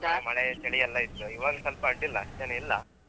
ಈ ಕಡೆ ಮಳೆ ಚಳಿಯೆಲ್ಲಾ ಇತ್ತು ಇವಾಗ್ ಸ್ವಲ್ಪ ಆಡಿಲ್ಲ ಅಷ್ಟ್ ಚಳಿ ಇಲ್ಲ.